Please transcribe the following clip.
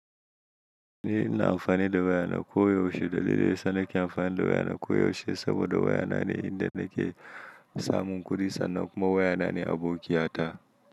Ni ina amfani da waya na koyaushe dalili sanake amfani da waya na koyaushe saboda waya na ne inda nake samun kuɗi sannan kuma waya na ne abokiya ta.